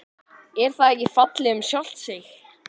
Er það ekki fallið um sjálft sig?